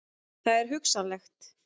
Það er hugsanlegt.